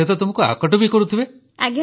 ସେ ତ ତୁମକୁ ଆକଟ କରୁଥିବେ